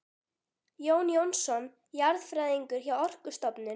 Jón Jónsson jarðfræðingur hjá Orkustofnun ásamt